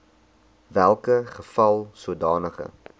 welke geval sodanige